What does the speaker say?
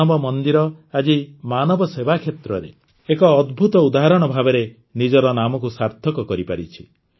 ମାନବ ମନ୍ଦିର ଆଜି ମାନବ ସେବା କ୍ଷେତ୍ରରେ ଏକ ଅଦ୍ଭୁତ ଉଦାହରଣ ଭାବରେ ନିଜର ନାମକୁ ସାର୍ଥକ କରିପାରିଛି